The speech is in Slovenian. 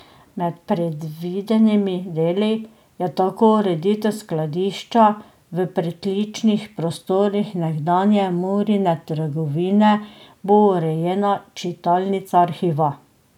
Med predvidenimi deli je tako ureditev skladišča, v pritličnih prostorih nekdanje Murine trgovine bo urejena čitalnica arhiva.